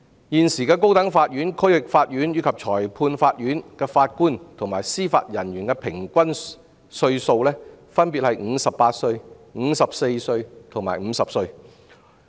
現時高等法院、區域法院及裁判法院的法官及司法人員的平均年齡分別為58歲、54歲及50歲。